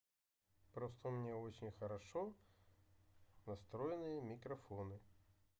просто у меня очень хорошо настроенные микрофоны